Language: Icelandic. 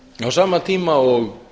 á sama tíma og